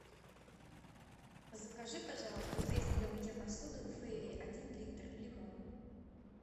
закажи пожалуйста средство для мытья посуды фейри один литр лимон